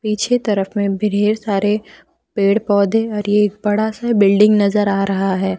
पीछे तरफ में ढेर सारे पेड़ पौधे और एक बड़ा सा बिल्डिंग नजर आ रहा है।